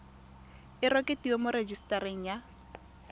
e rekotiwe mo rejisetareng ya